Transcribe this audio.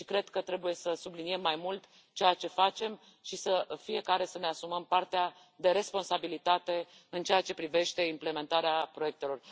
Cred că trebuie să subliniem mai mult ceea ce facem și fiecare să ne asumăm partea de responsabilitate în ceea ce privește implementarea proiectelor.